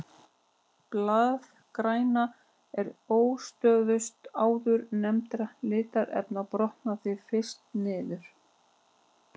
Blaðgræna er óstöðugust áðurnefndra litarefna og brotnar því fyrst niður.